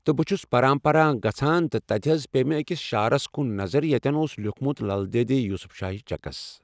تہٕ بہٕ چھُس پران پران گژھان تہٕ تتہِ حظ پے مےٚ أکِس شعارس کُن نظر یتتٮ۪ن اوس لیوٗکھمُت لل دٮ۪دِ یوسف شاہ چکس